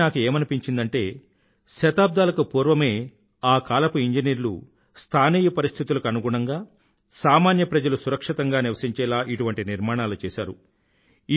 అది విని నాకు ఏమనిపించిందంటే శతాబ్దాలకు పూర్వమే ఆ కాలపు ఇంజనీర్లు స్థానీయ పరిస్థితులకు అనుగుణంగా సామాన్య ప్రజలు సురక్షితంగా నివసించేలా ఇటువంటి నిర్మాణాలు చేసారు